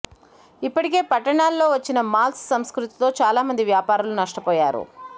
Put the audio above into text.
ఇప్పటికే పట్టణాల్లో వచ్చిన మాల్స్ సంస్కృతితో చాలా మంది వ్యాపారులు నష్టపోయారు